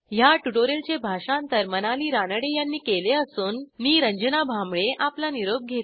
ह्या ट्युटोरियलचे भाषांतर मनाली रानडे यांनी केले असून मी रंजना भांबळे आपला निरोप घेते